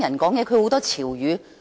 我也不大聽得懂年輕人的潮語。